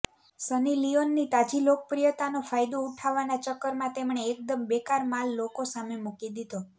સની લિયોનની તાજી લોકપ્રિયતાનો ફાયદો ઉઠાવવાના ચક્કરમાં તેમણે એકદમ બેકાર માલ લોકો સામે મુકી દીધો